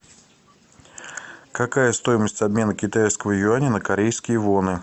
какая стоимость обмена китайского юаня на корейские воны